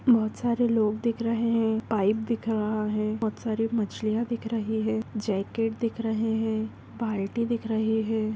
बहुत सारे लोग दिख रहे हैं पाइप दिख रहा है बहुत सारे मछलियां दिख रहे हैं जैकेट दिख रहे हैं बाल्टी दिख रही है